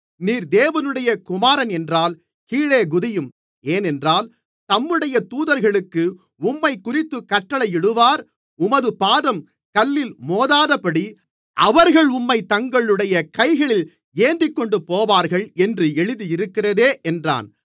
நீர் தேவனுடைய குமாரனென்றால் கீழே குதியும் ஏனென்றால் தம்முடைய தூதர்களுக்கு உம்மைக்குறித்துக் கட்டளையிடுவார் உமது பாதம் கல்லில் மோதாதபடி அவர்கள் உம்மைத் தங்களுடைய கைகளில் ஏந்திக்கொண்டுபோவார்கள் என்று எழுதியிருக்கிறதே என்றான்